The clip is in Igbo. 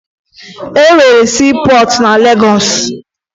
E nwere siipọọtụ na Legọọsụ